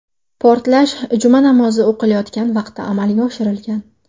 Portlash Juma namozi o‘qilayotgan vaqtda amalga oshirilgan.